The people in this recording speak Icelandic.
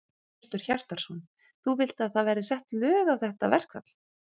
Hjörtur Hjartarson: Þú vilt að það verði sett lög á þetta verkfall?